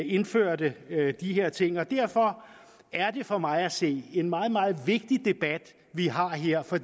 indførte de her ting derfor er det for mig at se en meget meget vigtig debat vi har her for